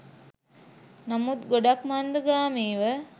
නමුත් ගොඩක් මන්දගාමීව.